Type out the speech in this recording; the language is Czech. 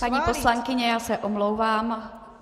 Paní poslankyně, já se omlouvám.